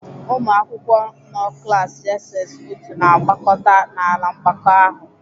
Ụmụ akwụkwọ nnọ klas "JSS Otu" na-agbakọta n'ala mgbakọ ahụ.